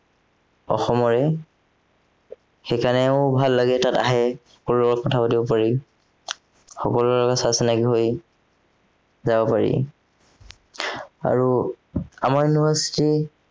অসমৰে সেইকাৰণেও ভাল লাগে তাত আহে ঘৰুৱাকৈও কথা পাতিব পাৰি সকলোৰে লগত চা চিনাকি হৈ যাব পাৰি আৰু আমাৰ দিনৰ শ্ৰী